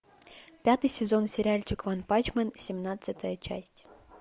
пятый сезон сериальчик ванпанчмен семнадцатая часть